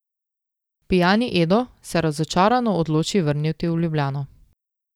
Pijani Edo se razočarano odloči vrniti v Ljubljano.